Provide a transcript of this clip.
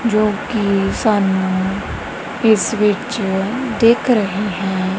ਜੋ ਕਿ ਸਾਨੂੰ ਇਸ ਵਿੱਚ ਦਿੱਖ ਰਹੇ ਹੈਂ।